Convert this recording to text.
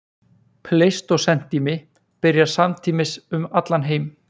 Pleistósentími byrjar samtímis um allan heim.